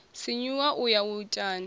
sinyuwa u ya u itani